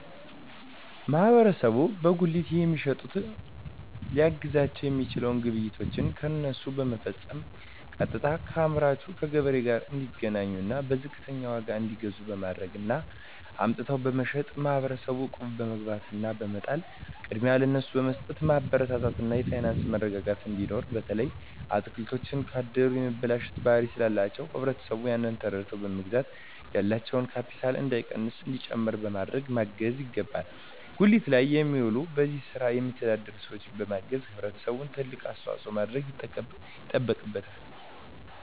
ማህበረሰቡ በጉሊት የሚሸጡትን ሊያግዛቸዉ የሚችለዉ ግብይቶችን ከነሱ በመፈፀም ቀጥታከአምራቹ ከገበሬዎቹ ጋር እንዲገናኙና በዝቅተኛ ዋጋ እንዲገዙ በማድረግ እና አምጥተዉ በመሸጥ ማህበረሰቡ እቁብ በመግባት እና በመጣል ቅድሚያ ለነሱ በመስጠትማበረታታት እና የፋይናንስ መረጋጋት እንዲኖር በተለይ አትክልቶች ካደሩ የመበላሸት ባህሪ ስላላቸዉ ህብረተሰቡ ያንን ተረድተዉ በመግዛት ያላቸዉ ካቢታል እንዳይቀንስና እንዲጨምር በማድረግ ማገዝ ይገባል ጉሊት ላይ የሚዉሉ በዚህ ስራ የሚተዳደሩ ሰዎችን በማገዝና ህብረተሰቡ ትልቅ አስተዋፅኦ ማድረግ ይጠበቅበታል